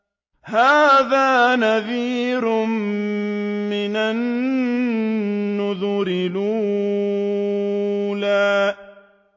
هَٰذَا نَذِيرٌ مِّنَ النُّذُرِ الْأُولَىٰ